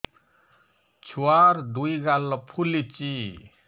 ଛୁଆର୍ ଦୁଇ ଗାଲ ଫୁଲିଚି